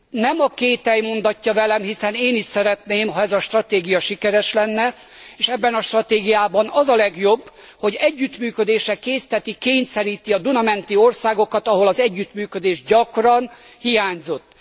Nem a kétely mondatja velem, hiszen én is szeretném, ha ez a stratégia sikeres lenne, és ebben a stratégiában az a legjobb, hogy együttműködésre készteti, kényszeríti a Duna menti országokat, ahol az együttműködés gyakran hiányzott.